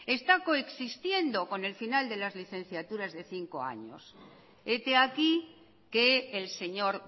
está coexistiendo con el final de las licenciaturas de cinco años hete aquí que el señor